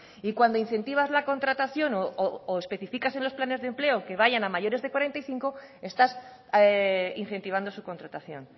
y cuando incentivas la contratación o especificas en los planes de empleo que vayan a mayores de cuarenta y cinco estás incentivando su contratación